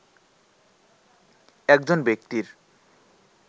একজন ব্যক্তির